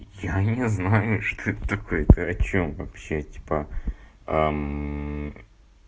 я не знаю что это такое ты о чём вообще типа